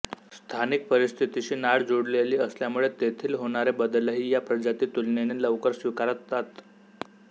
स्थानिक परिस्थितीशी नाळ जुळलेली असल्यामुळे तेथील होणारे बदलही या प्रजाती तुलनेने लवकर स्वीकारतात